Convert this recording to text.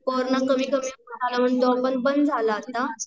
corona कमी कमी झाला मग तो पण बंद झालं आता